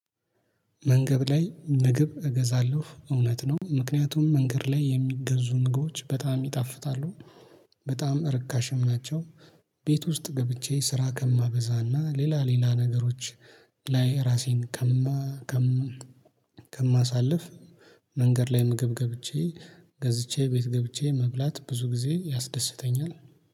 መንገድ ላይ ምግብ እገዛለሁ እውነት ነው ምክንያቱም መንገድ ላይ የሚገዙ ምግቦች በጣም ይጣፍጣሉ በጣም ርካሽም ናቸው። ቤት ውስጥ ገብቼ ስራ ከማበዛና ሌላ ሌላ ነገሮች ላይ ራሴን ከማ ከማሳልፍ። መንገድ ላይ ምግብ ገብቼ ገዝቼ ቤት ገብቼ መብላት ብዙ ጊዜ ያስደስተኛል